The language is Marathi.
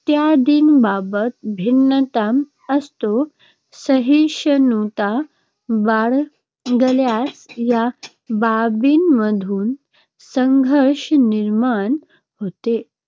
इत्यादीबाबत भिन्नता असते, सहिष्णुता बाळगल्यास या बाबींमधून संघर्ष निर्माण होत